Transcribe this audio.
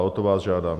A o to vás žádám.